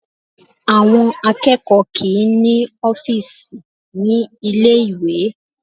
Àwọn akẹ́kọ̀ọ́ kì í ní ọ́fíìsì ní ilé ìwé